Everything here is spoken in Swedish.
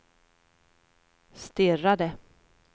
stirrade